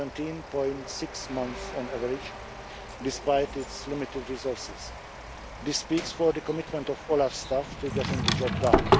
17.6 months on average, despite its limited resources. This speaks for the commitment of OLAF staff to getting the job done.